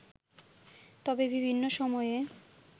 তবে বিভিন্ন সময়ে